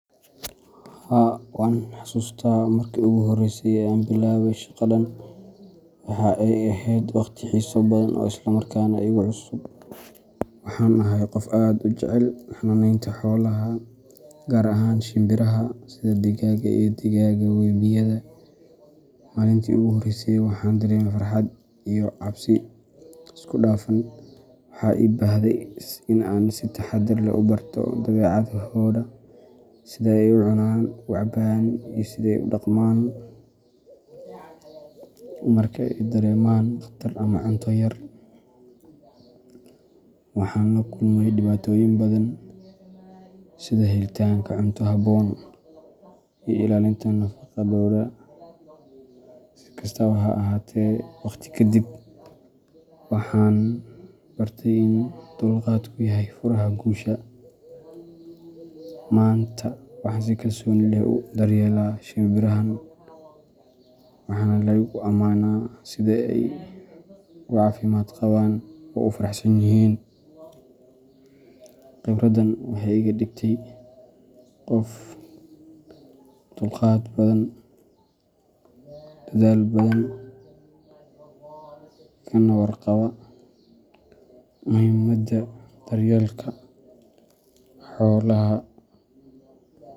Haa, waan xasuustaa markii ugu horreysay ee aan bilaabay shaqadan. Waxa ay ahayd waqti xiiso badan oo isla markaana igu cusub. Waxaan ahay qof aad u jecel xanaanaynta xoolaha, gaar ahaan shinbiraha sida digaagga iyo digaagga webiyada. Maalintii ugu horreysay waxaan dareemayay farxad iyo cabsi isku dhafan. Waxaa ii baahday in aan si taxadar leh u barto dabeecadahooda, sida ay u cunaan, u cabaan, iyo sida ay u dhaqmaan marka ay dareemaan khatar ama cunto yar. Waxaan la kulmay dhibaatooyin badan, sida helitaanka cunto habboon iyo ilaalinta nadaafaddooda. Si kastaba ha ahaatee, waqti ka dib, waxaan bartay in dulqaadku yahay furaha guusha. Maanta, waxaan si kalsooni leh u daryeelaa shimbirahan, waxaana la igu amaanaa sida ay u caafimaad qabaan oo u faraxsan yihiin. Khibradan waxay iga dhigtay qof dulqaad badan, dadaal badan, kana warqaba muhiimada daryeelka xoolaha.